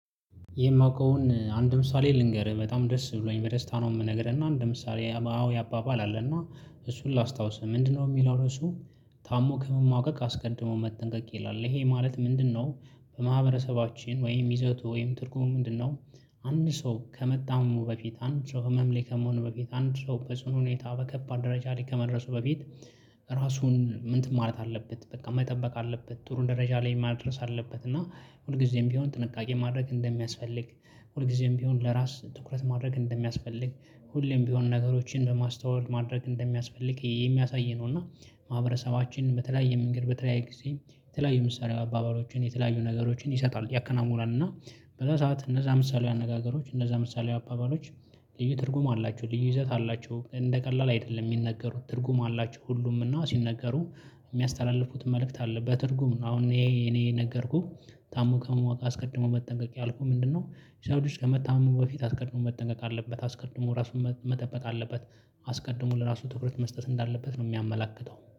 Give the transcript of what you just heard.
የማውቀውን አንድ ምሳሌ ልንገርህ በጣም ደስ ብሎኝ በደስታ ነው የምነግርህ እና አንድ ምሳሌ አዎ ያባባል አለና እሱን ላስታውስህ ምንድነው? የሚለው ርዕሱ ታሞ ከመማቀቅ አስቀድሞ መጠንቀቅ ይላል ይሄ ማለት ምንድነው? በማህበረሰባችን ወይም ይዘቱ ወይም ትርጉሙ ምንድነው? አንድ ሰው ከመጣመሙ በፊት አንድ ሰው ህመም ላይ ከመሆኑ በፊት አንድ ሰው በጽኑ ሁኔታ በከባድ ደረጃ ላይ ከመድረሱ በፊት ራሱን ምንትን ማለት አለበት በቃ መጠበቅ አለበት ጥሩ ደረጃ ላይ ማድረስ አለበት። እና ሁልጊዜም ቢሆን ጥንቃቄ ማድረግ እንደሚያስፈልግ ሁልጊዜም ቢሆን ለራስ ትኩረት ማድረግ እንደሚያስፈልግ ሁሌም ቢሆን ነገሮችን በማስተዋል ማድረግ እንደሚያስፈልግ የሚያሳይ ነው። እና ማህበረሰባችን በተለያየ መንገድ በተለያየ ጊዜ የተለያዩ ምሳሌ አባባሎችን የተለያዩ ነገሮችን ይሰጣል ያከናውናል እና። በዛ ሰዓት እነዛ ምሳሊያዊ አነጋገሮች እነዛ ምሳሌ አባባሎች። ልዩ ትርጉም አላቸው ልዩ ይዘት አላቸው እንደ ቀላል አይደለም ሚነገሩት ትርጉም አላቸው ሁሉም እና ሲነገሩ የሚያስተላልፉት መልእክት አለበት በትርጉም ነው። አሁን ይሄ እኔ እኔ ነገርኩህ ታሞ ከመዋቅ አስቀድሞ መጠንቀቅ ያልኩህ ምንድነው? ሰው ልጅ ከመታመሙ በፊት አስቀድሞ መጠንቀቅ አለበት አስቀድሞ ራሱን መጠበቅ አለበት አስቀድሞ ለራሱ ትኩረት መስጠት እንዳለበት ነው። የሚያመለክተው